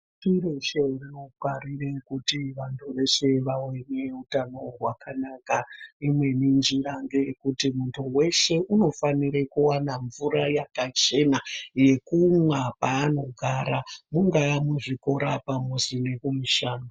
Chiro chinofanire kuti antu eshe awe neutano hwakanaka. Imweni njira ngeyekuti mutu weshe unofanira kuwana mvira yakachena yekumwa paaanogara mungaa muzvikora pamuzi nekumushando.